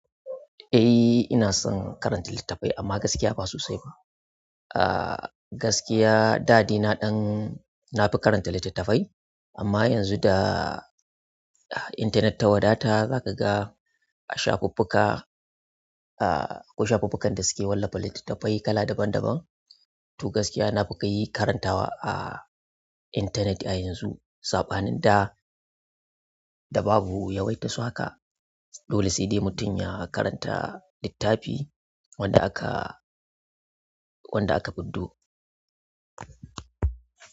Eh ina son karanta littattafai amma gaskiya ba so sai ba. Ah gaskiya dadaina dan nafi karanta littattafai amma yanzu da internet ta wadata zaka ga a shafukuka, ah akwai shafukukan da suke wallafa littattafai kala daban daban. To gaskiya nafika yi karantawa a internet a yanzu sabanin da da babu yawaitar su haka. Dole sai dai mutum ya karanta littafi wanda aka, wanda aka buddo.